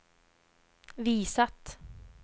visat